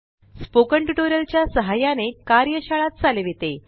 spoken tutorial च्या सहाय्याने कार्यशाळा चालविते